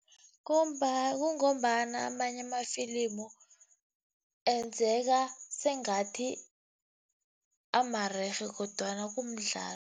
kungombana amanye amafilimu enzeka sengathi amarerhe kodwana kumdlalo.